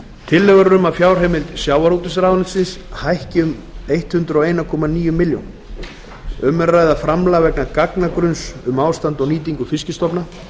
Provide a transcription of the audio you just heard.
tillögur er um að fjárheimild sjávarútvegsráðuneytis hækki um hundrað og einn komma níu milljónir króna um er að ræða framlag vegna gagnagrunns um ástand og nýtingu fiskistofu